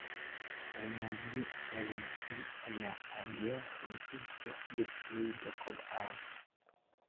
Dalagyo wanaagsan ayaa caawiya xoojinta bulshooyinka kobcaya.